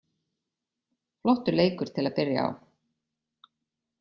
Flottur leikur til að byrja á.